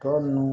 Tɔ nunnu